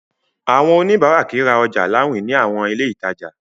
Àwọn oníbàárà kìí ra ọjà láwìn ní àwọn ilé ìtajà.